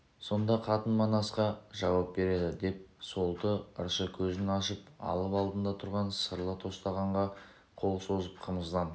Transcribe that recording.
сонда қатын манасқа жауап береді деп солты ыршы көзін ашып алып алдында тұрған сырлы тостағанға қол созып қымыздан